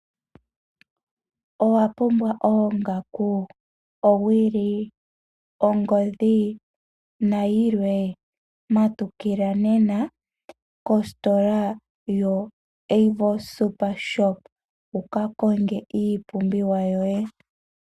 Owa pumbwa oongaku, owili, ongodhi nayilwe? Matukila nena kositola yoAVO Super Shop wuka konge iipumbiwa yoye.